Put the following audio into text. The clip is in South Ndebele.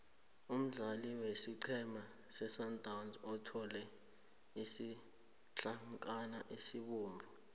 umdlali wesiqhema sesundowns uthole isitlankana esibovu